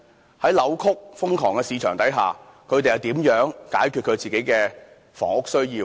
在一個扭曲、瘋狂的市場之下，他們如何能夠解決自己的房屋需要？